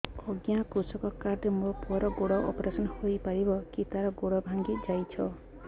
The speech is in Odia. ଅଜ୍ଞା କୃଷକ କାର୍ଡ ରେ ମୋର ପୁଅର ଗୋଡ ଅପେରସନ ହୋଇପାରିବ କି ତାର ଗୋଡ ଭାଙ୍ଗି ଯାଇଛ